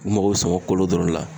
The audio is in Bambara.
U mago sama kolo dɔrɔn la